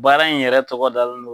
Baara in yɛrɛ tɔgɔ dalen don.